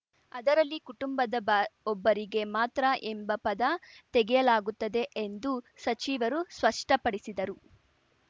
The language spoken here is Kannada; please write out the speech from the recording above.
ಅದರಲ್ಲಿ ಕುಟುಂಬದ ಬ ಒಬ್ಬರಿಗೆ ಮಾತ್ರ ಎಂಬ ಪದ ತೆಗೆಯಲಾಗುತ್ತದೆ ಎಂದು ಸಚಿವರು ಸ್ಪಷ್ಟಪಡಿಸಿದರು